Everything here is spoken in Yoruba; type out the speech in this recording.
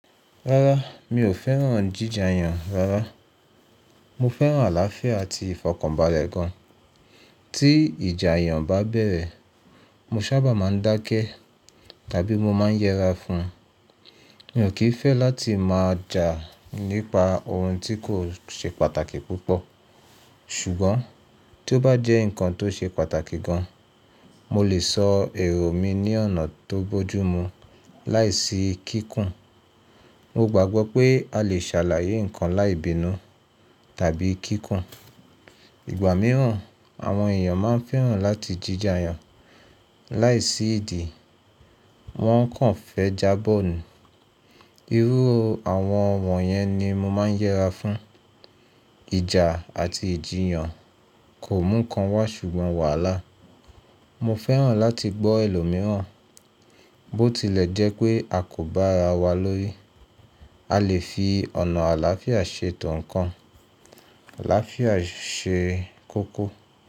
Rárá, mi ò fẹ́ràn jíja iyàn rárá. Mo fẹ́ràn àlàáfíà àti ìfọ̀kànbalẹ̀ gan. Tí ìjà iyàn bá bẹ̀rẹ̀, mo ṣábà máa ń dákẹ́ tàbí mo máa ń yẹra fún. Mi ò kí fẹ́ láti máa jà nípa ohun tí kò ṣe pàtàkì púpọ̀. Ṣùgbọ́n tí ó bá jẹ́ ǹkan tó ṣe pàtàkì gan, mo lè sọ èrò mi ní ọ̀nà tó bójú mu láìsí kíkùn. Mo gbàgbọ́ pé a lè ṣàlàyé ǹkan láì bínú tàbí kíkùn. Ìgbà mìíràn, àwọn èèyàn máa ń fẹ́ràn láti jíja iyàn láìsí ìdí, wọ́n kàn fẹ́ jábọ̀ nù. Irú àwọn wọ̀nyẹn ni mo máa ń yẹra fún. Ijà àti ìjiyàn kò mú ǹkan wá ṣùgbọ́n wàhálà. Mo fẹ́ràn láti gbọ́ ẹlòmíràn. Bó tilẹ̀ jẹ́ pé a kò bá ara wa lórí, a lè fi ọ̀nà àlàáfíà ṣe ètò ǹkan. Àlàáfíà ṣe kókó.